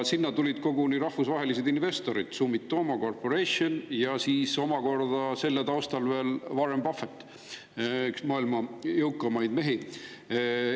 Sinna tulid koguni rahvusvahelised investorid, Sumitomo Corporation ja selle taustal omakorda veel Warren Buffett, üks maailma jõukamaid mehi.